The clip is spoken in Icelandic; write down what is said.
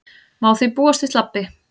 Má því búast við slabbi